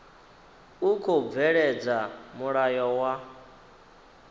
u khou bveledza mulayo wa